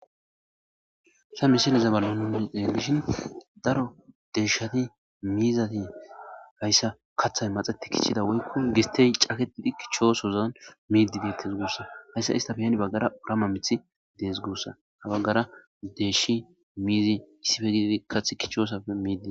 Hayisa misileza bola nuni xeliishshin daro deyishati mizati hayisa kaaththayi maaxeti kichida woyikko gisitteyi maaxeti kichchosozani midi deetesi gusakko hesa isita baggappe gede baggara woliqama miiththi deesi gusa ha bagara deyishnne mizi kathi kichchosappe midi deesi gusa